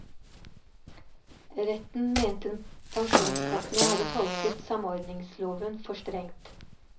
Retten mente pensjonskassene hadde tolket samordningsloven for strengt.